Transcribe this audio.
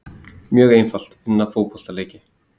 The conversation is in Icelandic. Mjög einfalt, vinna fótboltaleiki.